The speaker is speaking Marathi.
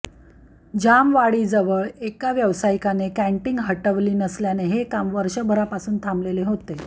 जामवाडीजवळ एका व्यावसायिकाने कँटीन हटवली नसल्याने हे काम वर्षभरापासून थांबलेले होते